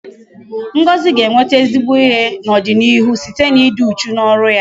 Ngozi ga-enweta ezigbo ihe n'ọdịnịihu site n'ịdị uchu n'ọrụ ya